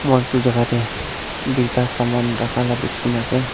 moi edu jaka tae duita saman rakha la dikhinase.